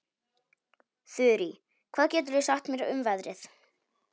Þurí, hvað geturðu sagt mér um veðrið?